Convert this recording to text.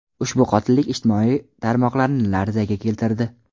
Ushbu qotillik ijtimoiy tarmoqlarni larzaga keltirdi.